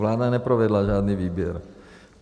Vláda neprovedla žádný výběr.